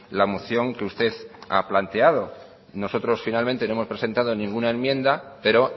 la moción que usted ha planteado nosotros finalmente no hemos presentado ninguna enmienda pero